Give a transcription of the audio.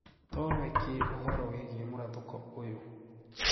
Toowe kii ũhoro wigie mũrathũko ũyo?